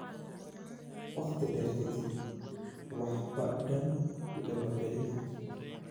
"Waqti dheer ka dib, waxba dan igama gelin.